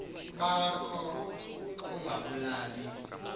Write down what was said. ba kho ungabalibali